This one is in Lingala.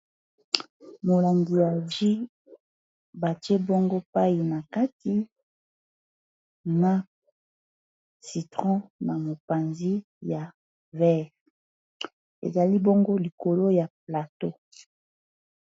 molangu ya vie batie bongo pai na kati na citron na mopanzi ya vere ezali bongo likolo ya plateau